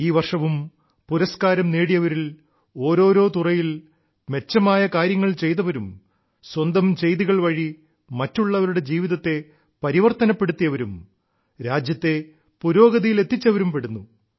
ഈ വർഷവും പുരസ്കാരം നേടിയവരിൽ ഓരോരോ തുറകളിൽ മെച്ചമായ കാര്യങ്ങൾ ചെയ്തവരും സ്വന്തം ചെയ്തികൾ വഴി മറ്റുള്ളവരുടെ ജീവിതത്തെ പരിവർത്തനപ്പെടുത്തിയവരും രാജ്യത്തെ പുരോഗതിയിലെത്തിച്ചവരും പെടുന്നു